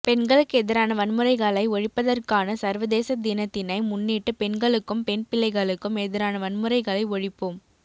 பெண்களுக்கெதிரான வன்முறைகளை ஒழிப்பதற்கான சர்வதேச தினத்தினை முன்னிட்டு பெண்களுக்கும் பெண் பிள்ளைகளுக்கும் எதிரான வன்முறைகளை ஒழிப்போம்